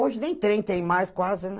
Hoje nem trem tem mais quase, né?